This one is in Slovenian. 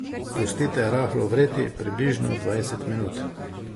Pustite rahlo vreti približno dvajset minut.